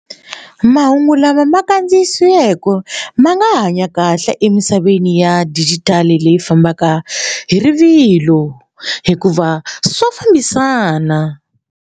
Mahungu lama ma kandziyisiweke ma nga hanya kahle emisaveni ya digital leyi fambaka hi rivilo hikuva swa fambisana.